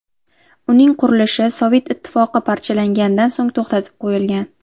Uning qurilishi Sovet Ittifoqi parchalangandan so‘ng to‘xtatib qo‘yilgan.